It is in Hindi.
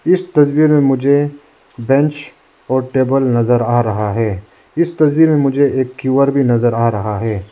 इस तस्वीर में मुझे बेंच और टेबल नजर आ रहा है इस तस्वीर में मुझे एक क्यू आर भी नजर आ रहा है।